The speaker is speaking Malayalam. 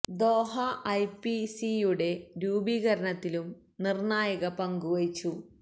ദോഹ ഐ പി സി യുടെ രൂപീകരണത്തിലും നിർണായക പങ്കു വഹിച്ചു